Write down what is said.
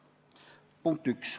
Punkt üks.